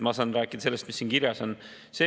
Mina saan rääkida sellest, mis siin kirjas on.